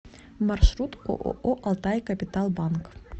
маршрут ооо алтайкапиталбанк